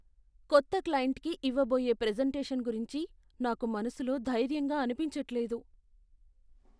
కొత్త క్లయింట్కి ఇవ్వ బోయే ప్రెజెంటేషన్ గురించి నాకు మనసులో ధైర్యంగా అనిపించట్లేదు .